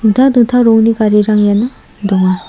dingtang dingtang rongni garirang iano donga.